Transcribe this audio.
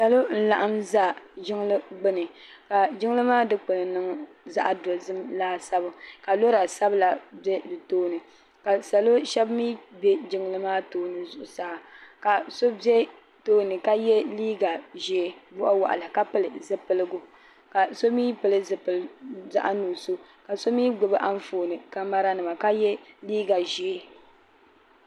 Salo n laɣim n za jiŋli gbini ka jiŋli maa dikpini niŋ zaɣa dozim laasabu ka lora sabla be di tooni ka salo shɛba mi be jiŋli maa tooni zuɣu saa ka so be tooni ka ye liiga ʒee waɣiwaɣila ka pili zipiligu ka so mi pili zipil zaɣa nuɣuso ka so mi gbibi anfooni kamara nima ka ye liiga ʒee.